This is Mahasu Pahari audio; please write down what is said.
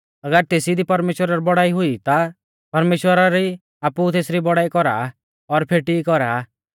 अगर तेसी दी परमेश्‍वरा री बौड़ाई हुई आ ता परमेश्‍वर भी आपु तेसरी बौड़ाई कौरा आ और फेटी कौरा